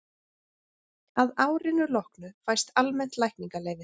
að árinu loknu fæst almennt lækningaleyfi